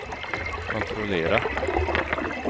kontrollera